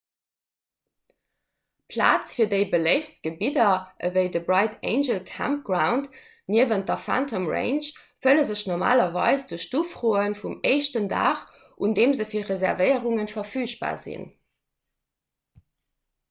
plaz fir déi beléiftst gebidder ewéi de bright angel campground niewent der phantom ranch fëlle sech normalerweis duerch d'ufroe vum éischten dag un deem se fir reservéierunge verfügbar ginn